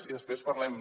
i després parlem